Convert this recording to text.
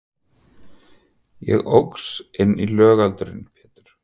Ég óx inn í lögaldurinn Pétur.